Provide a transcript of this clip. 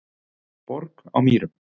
Borg á Mýrum